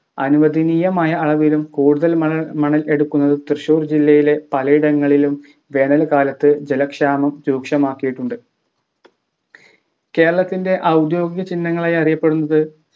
അനുവദനീയമായ അളവിലും കൂടുതൽ മണൽ മണൽ എടുക്കുന്നത് തൃശ്ശൂർ ജില്ലയിലെ പലയിടങ്ങളിലും വേനൽ കാലത്ത് ജലക്ഷാമം രൂക്ഷമാക്കിയിട്ടുണ്ട് കേരളത്തിൻ്റെ ഔദ്യോഗിക ചിഹ്നങ്ങളായി അറിയപ്പെടുന്നത്